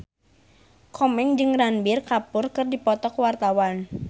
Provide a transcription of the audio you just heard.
Komeng jeung Ranbir Kapoor keur dipoto ku wartawan